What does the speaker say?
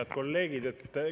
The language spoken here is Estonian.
Head kolleegid!